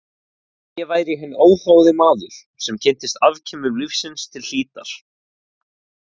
Að ég væri hinn óháði maður sem kynntist afkimum lífsins til hlítar.